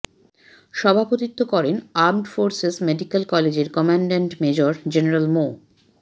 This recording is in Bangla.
সভাপতিত্ব করেন আর্মড ফোর্সেস মেডিক্যাল কলেজের কমান্ড্যান্ট মেজর জেনারেল মো